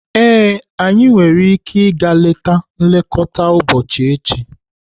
Ee, anyị nwere ike ịga leta nlekọta ụbọchị echi.